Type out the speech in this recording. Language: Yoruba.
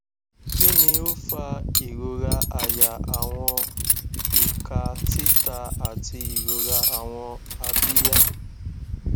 kini o fa irora àyà awọn ika tita ati irora awọn abiya